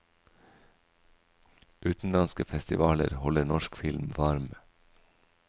Utenlandske festivaler holder norsk film varm.